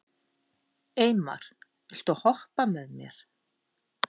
Eymar, viltu hoppa með mér?